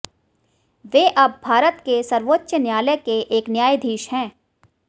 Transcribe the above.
वे अब भारत के सर्वोच्च न्यायालय के एक न्यायाधीश हैं